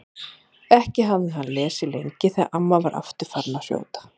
Ekki hafði hann lesið lengi þegar amma var aftur farin að hrjóta.